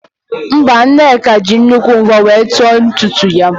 Mba, Nneka jịrị nnukwu mvọ were nt vọọ ntutu ya